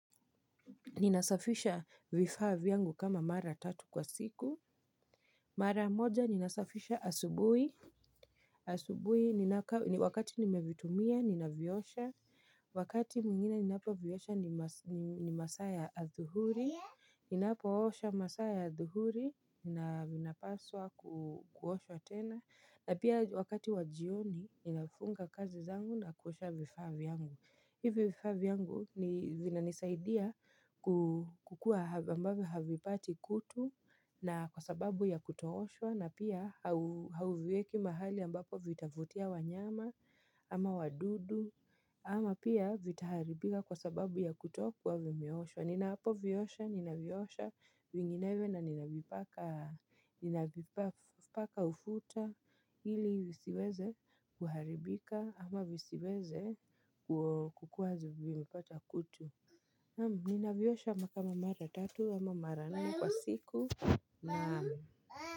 Ninasafisha vifaa vyangu kama mara tatu kwa siku. Mara moja, ninasafisha asubuhi. Asubuhi, wakati nimevitumia, ninaviosha. Wakati mwingine ninapoviosha ni masaa athuhuri. Ninapoosha masaa ya athuhuri. Ninapaswa kuosha tena. Na pia wakati wa jioni, ninafunga kazi zangu na kuosha vifaa vyangu. Hivyo vifaa vyangu vinanisaidia kukua ambavyo havipati kutu na kwa sababu ya kutooshwa na pia hauvieki mahali ambapo vitavutia wanyama ama wadudu ama pia vitaharibika kwa sababu ya kutokua vimeoshwa. Ninapoviosha, ninaviosha vinginewe na ninavipaka ufuta hili visiweze kuharibika ama visiweze kukuwa zimepata kutu. Naam, ninaviosha kama mara tatu ama mara nne kwa siku. Naam.